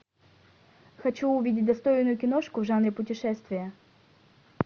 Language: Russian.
хочу увидеть достойную киношку в жанре путешествия